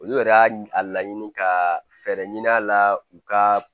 Olu yɛrɛ y'a a laɲini ka fɛɛrɛ ɲini a la u ka